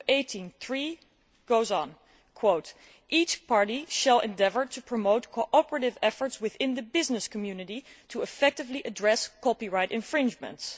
2.18.3 goes on each party shall endeavour to promote cooperative efforts within the business community to effectively copyright infringements.